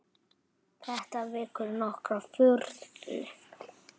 Þetta vekur nokkra furðu.